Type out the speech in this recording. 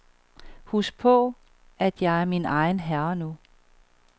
Husk på, at jeg er min egen herre nu.